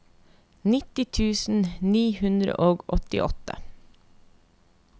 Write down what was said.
nitti tusen ni hundre og åttiåtte